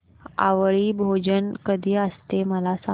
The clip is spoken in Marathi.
आवळी भोजन कधी असते मला सांग